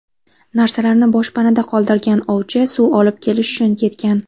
Narsalarni boshpanada qoldirgan ovchi suv olib kelish uchun ketgan.